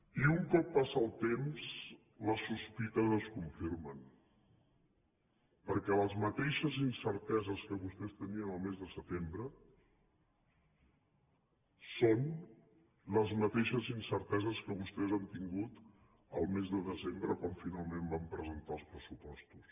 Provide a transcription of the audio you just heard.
i un cop passa el temps les sospites es confirmen perquè les mateixes incerteses que vostès tenien el mes de setembre són les mateixes incerteses que vostès han tingut el mes de desembre quan finalment van presentar els pressupostos